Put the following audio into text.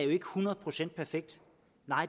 hundrede procent perfekt